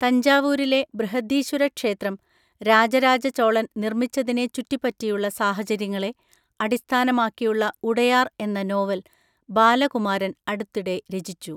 തഞ്ചാവൂരിലെ ബൃഹദീശ്വര ക്ഷേത്രം രാജരാജ ചോളൻ നിർമ്മിച്ചതിനെ ചുറ്റിപ്പറ്റിയുള്ള സാഹചര്യങ്ങളെ അടിസ്ഥാനമാക്കിയുള്ള ഉടയാർ എന്ന നോവൽ ബാലകുമാരൻ അടുത്തിടെ രചിച്ചു.